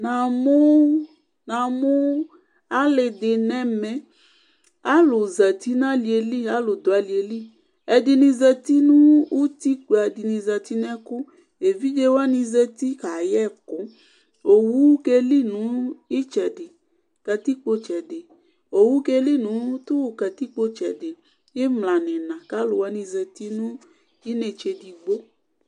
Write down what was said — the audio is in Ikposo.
Namʋ alidi nʋ ɛmɛ alʋdʋ alieli alʋ zati nʋ itikpa ɛdini zati nʋ ɛkʋ evidze wani zeti kayɛ ɛkʋ owʋ keli nʋ katikpo itsɛdi imla nʋ iina kʋ alʋwani zati nʋ inetse edigbo